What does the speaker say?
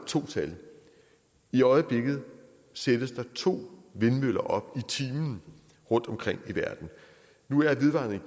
to tal i øjeblikket sættes der to vindmøller op i timen rundtomkring i verden nu er vedvarende